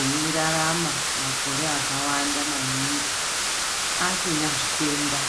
eirarama makore akawanda maningi asina zvitenda.